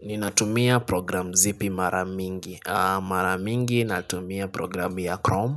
Ninatumia program zipi mara mingi. Mara mingi natumia program ya Chrome.